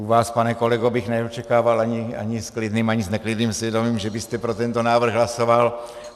U vás, pane kolego, bych neočekával ani s klidným, ani s neklidným svědomím, že byste pro tento návrh hlasoval.